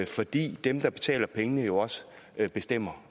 fordi dem der betaler pengene jo også bestemmer